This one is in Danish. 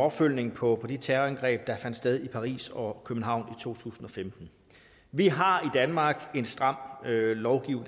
opfølgningen på de terrorangreb der fandt sted i paris og københavn i to tusind og femten vi har i danmark en stram